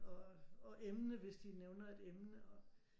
Og emne hvis de nævner et emne